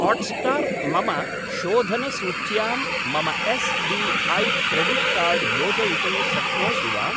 Hotstar मम शोधनसूच्यां मम एस्.बी.ऐ. क्रेडिट् कार्ड् योजयितुं शक्नोषि वा?